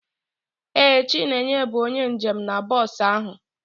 Ee, chineye bụ onye njem na bọs ahụ.